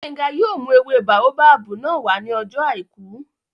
Gbénga yóò mú ewé báóbábù náà wá ní ọjọ́ àìkú